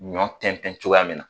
Ɲɔ tɛntɛn cogoya mina